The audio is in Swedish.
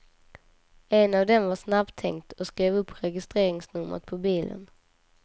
En av dem var snabbtänkt och skrev upp registreringsnumret på bilen.